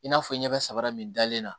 I n'a fɔ n ɲɛ bɛ sabara min dalen na